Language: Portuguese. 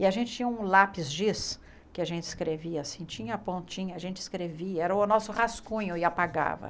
E a gente tinha um lápis giz que a gente escrevia assim, tinha pontinha, a gente escrevia, era o nosso rascunho e apagava.